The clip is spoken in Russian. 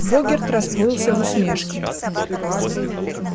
богерт расплылся в усмешке